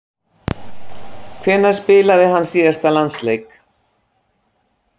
Hvenær spilaði hann síðast landsleik?